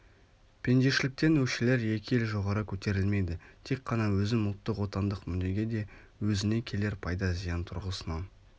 пендешіліктен өкшелер екі ел жоғары көтерілмейді тек қана өзім ұлттық отандық мүддеге де өзіне келер пайда-зиян тұрғысынан